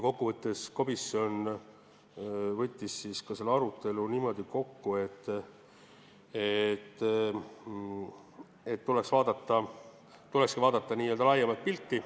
Komisjon võttis arutelu kokku niimoodi, et tulekski vaadata laiemat pilti.